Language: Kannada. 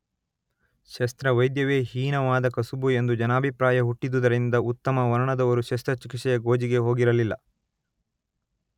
ಶಸ್ತ್ರವೈದ್ಯವೇ ಹೀನವಾದ ಕಸಬು ಎಂದು ಜನಾಭಿಪ್ರಾಯ ಹುಟ್ಟಿದುದರಿಂದ ಉತ್ತಮ ವರ್ಣದವರು ಶಸ್ತ್ರಚಿಕಿತ್ಸೆಯ ಗೋಜಿಗೆ ಹೋಗಿರಲಿಲ್ಲ